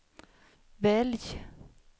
välj